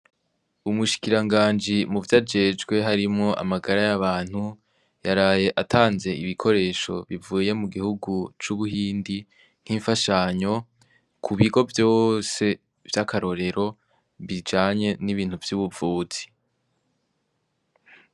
Umushikira nganji mu vyo ajejwe harimwo amagara y'abantu yaraye atanze ibikoresho bivuye mu gihugu c'ubuhindi nk'imfashanyo ku bigo vyose vy'akarorero bijanye n'ibintu vy'ubuvuzi.